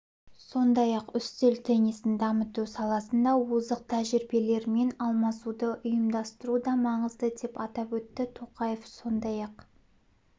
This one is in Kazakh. сондай-ақ үстел теннисін дамыту саласында озық тәжірибелермен алмасуды ұйымдастыру да маңызды деп атап өтті тоқаев сондай-ақ